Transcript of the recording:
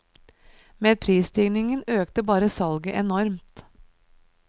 Med prisøkningen økte bare salget enormt.